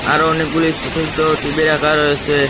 আরো অনেকগুলি এই সোট সোট টি_ভি রাখা রয়েসে ।